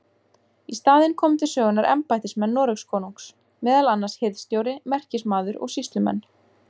Í staðinn komu til sögunnar embættismenn Noregskonungs, meðal annars hirðstjóri, merkismaður og sýslumenn.